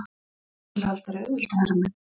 HÓTELHALDARI: Auðvitað, herra minn!